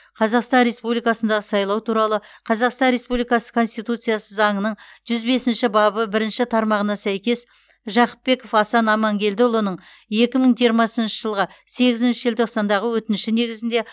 қазақстан республикасындағы сайлау туралы қазақстан республикасы конституциялық заңының жүз бесінші бабы бірінші тармағына сәйкес жақыпбеков асан амангелдіұлының екі мың жиырмасыншы жылғы сегізінші желтоқсандағы өтініші негізінде